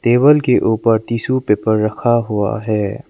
Table के ऊपर tissue paper रखा हुआ है।